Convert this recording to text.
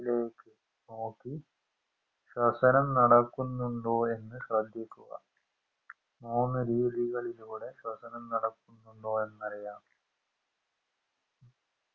ലേക്ക് നോക്കി ശ്വസനം നടക്കുന്നുണ്ടോ എന്ന് ശ്രെദ്ധിക്കുക മൂന്നുരീതികളിലൂടെ ശ്വസനം നടക്കുന്നുണ്ടോ എന്നറിയാം